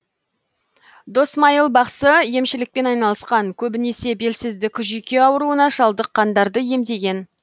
досмайыл бақсы емшілікпен айналысқан көбінесе белсіздік жүйке ауруына шалдыққандарды емдеген